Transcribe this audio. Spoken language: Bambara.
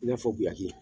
I n'a fɔ guyaki